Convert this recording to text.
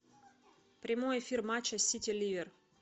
прямой эфир матча сити ливер